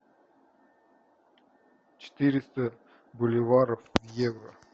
четыреста боливаров в евро